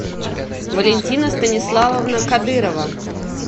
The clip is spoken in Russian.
валентина станиславовна кадырова